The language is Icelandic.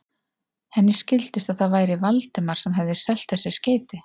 Henni skildist, að það væri Valdimar sem hefði selt þessi skeyti.